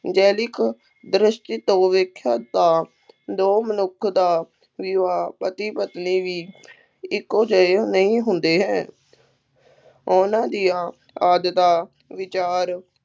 ਜੈਵਿਕ ਦ੍ਰਿਸ਼ਟੀ ਤੋਂ ਦੇਖਿਆ ਤਾਂ ਦੋ ਮਨੁੱਖ ਦਾ ਵਿਆਹ, ਪਤੀ-ਪਤਨੀ ਵੀ ਇੱਕੋ ਜਿਹੇ ਨਹੀਂ ਹੁੰਦੇ ਹੈ ਉਹਨਾ ਦੀਆਂ ਆਦਤਾਂ, ਵਿਚਾਰ